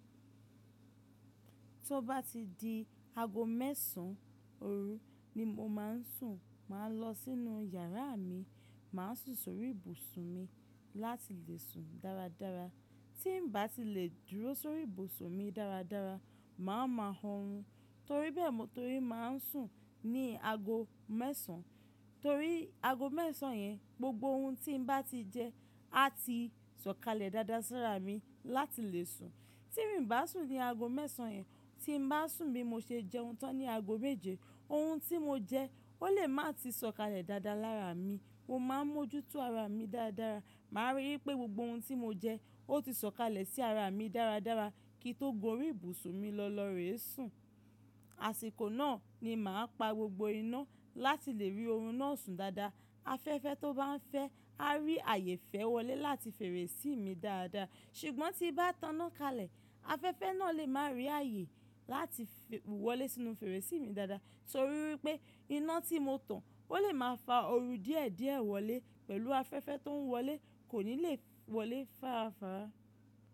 Tí ó bá ti di aago mẹ́sàn-án, òru ni mo máa ń sùn. Máa lọ sínú yàrá mi, máa sùn sórí ìbùsùn mi láti lè sùn dáradára. Tí n bá ti lè dúró sórí ìbùsùn mi dáradára, màá ma hun run torí bẹ́ẹ̀, torí máa ń sùn ní aago mẹ́sàn-án. Torí aago mẹ́sàn-án yẹn, gbogbo ohun tí n bá ti jẹ á ti sọ̀kalẹ̀ dáadáa sí ara mi láti lè sùn. Ti mi bá sùn ní aago mẹ́sàn-án yẹn, tí n bá sùn bí mo ṣe jẹun tán ní aago méje, ohun tí mo jẹ ó lè má ti sọ̀kalẹ̀ dáadáa lára mi. Mo máa ń mójútó ara mi dáradára. Màá rí i pé gbogbo ohun tí mo jẹ ó ti sọ̀kalẹ̀ sí ara mi dáradára kí n tó gorí ìbùsùn mi lọ́lọ́rẹ́ sùn. Àsìkò náà ni màá pa gbogbo iná láti lè rí oorun náà sùn dáadáa. Afẹ́fẹ́ tó bá ń fẹ́ á rí ààyè fẹ́ wọlé láti fèrèsí mi dáadáa. Ṣùgbọ́n tí bá tán iná kalẹ̀, afẹ́fẹ́ náà lè má rí ààyè láti wọlé sínú fèrèsí mi dáadáa torí wípé iná tí mo tan ó lè máa fa ooru díẹ̀díẹ̀ wọlé pẹ̀lú afẹ́fẹ́ tó ń wọlé kò ní lè wọlé fára fara.